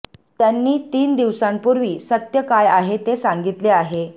त्यांनी तीन दिवसांपूर्वी सत्य काय आहे ते सांगितले आहे